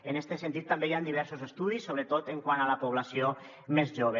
en este sentit també hi han diversos estudis sobretot quant a la població més jove